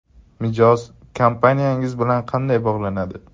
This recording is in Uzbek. Mijoz kompaniyangiz bilan qanday bog‘lanadi?